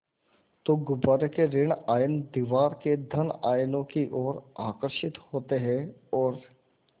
तो गुब्बारे के ॠण आयन दीवार के धन आयनों की ओर आकर्षित होते हैं और